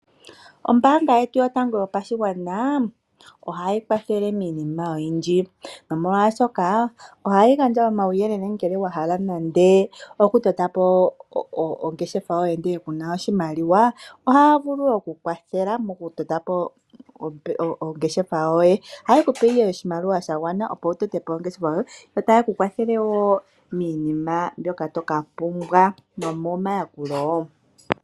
Ombaanga yetu yotango yopashigwana ohayi kwathele miinima oyindji molwaashoka ohayi gandja omauyelele ngele wahala okutotapo ongeshefa yoye ngele kuna oshimaliwa. Ohaya vulu okukukwathela mokutotapo oongeshefa yoye. Ohaye kupe ihe oshimaliwa shagwana opo wutepo ongeshefa yoye . Yo ohaye kukwathele wo miinima mbyoka toka pumbwa niikwathitho.